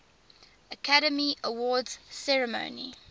academy awards ceremony